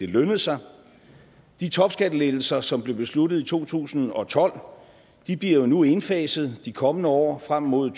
lønnede sig de topskattelettelser som blev besluttet i to tusind og tolv bliver nu indfaset de kommende år frem mod